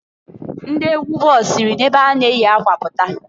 Ndị egwu ball siri na ebe ha na-eyi akwa pụta.